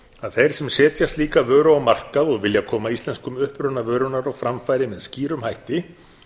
að þeir sem setja slíka vöru á markað og vilja koma íslenskum uppruna vörunnar á framfæri með skýrum hætti